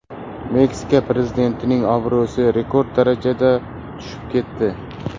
Meksika prezidentining obro‘si rekord darajada tushib ketdi.